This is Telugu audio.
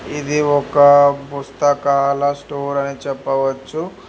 ఇది ఒక బుస్తకాల స్టోర్ అని చెప్పవచ్చు.